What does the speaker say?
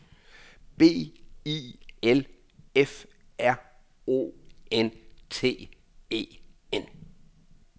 B I L F R O N T E N